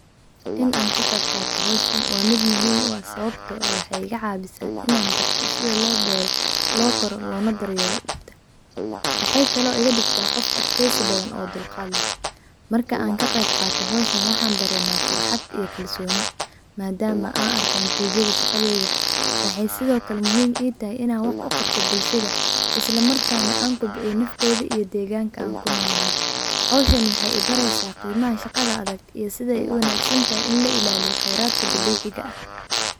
In an kaqeeb qato hoshan waa miid muhiim u ah, sawabto ah wexee iga cawisa ina barto sitha lo beero lo kooro lona daryelo, mexee kalo iga digtaa qof adkeysi badan ona dulqaad leh, markan kaqeeb qaato howshan waxan dareemaa farxaad iyo kalsoni, madaama aan arko natijada shaqadeyda, maxee sitho kalee muhiim itahay ina wax u qabto bulsha, islamakana an kobciyo nafteydaa iyo deganka an ku nolyahay, howshan wexee ibareysaa qimaha shaqada adag iyo sithey u wanagsantahay in la ilaliyo kheiradka dabiciga ah.